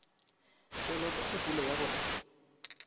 tlelwa ke kgopolo ya gore